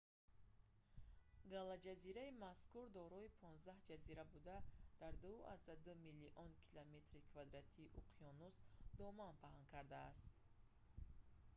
галаҷазираи мазкур дорои 15 ҷазира буда дар 2,2 млн. км2-и уқёнус доман паҳн кардааст